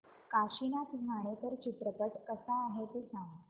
काशीनाथ घाणेकर चित्रपट कसा आहे ते सांग